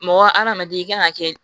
Mɔgɔ hadamaden i kan ka kɛ